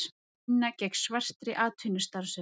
Vinna gegn svartri atvinnustarfsemi